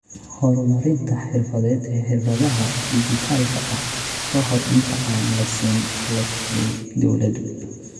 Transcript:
horumarinta xirfadeed ee xirfadaha dhijitaalka ah ka hor inta aan la siin qalab ay dawladdu.